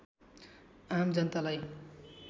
आम जनतालाई